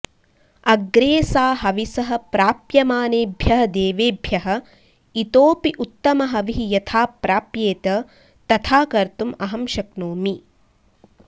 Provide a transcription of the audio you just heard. अग्रे सा हविसः प्राप्यमानेभ्यः देवेभ्यः इतोऽपि उत्तमहविः यथा प्राप्येत तथा कर्तुम् अहं शक्नोमि